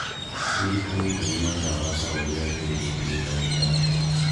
Ririkana kũnyua ndawa taũrĩa wĩrĩtwo ni ndagĩtarĩ